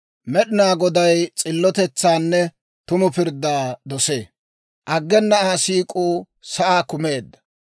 Med'inaa Goday s'illotetsaanne tumu pirddaa dosee; aggena Aa siik'uu sa'aa kumeedda.